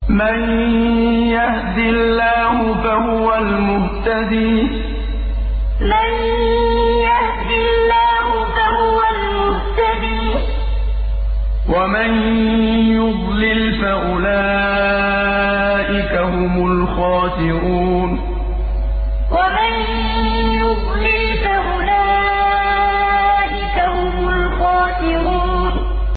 مَن يَهْدِ اللَّهُ فَهُوَ الْمُهْتَدِي ۖ وَمَن يُضْلِلْ فَأُولَٰئِكَ هُمُ الْخَاسِرُونَ مَن يَهْدِ اللَّهُ فَهُوَ الْمُهْتَدِي ۖ وَمَن يُضْلِلْ فَأُولَٰئِكَ هُمُ الْخَاسِرُونَ